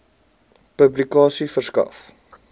publikasie verskaf